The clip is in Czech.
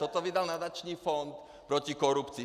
Toto vydal nadační fond proti korupci.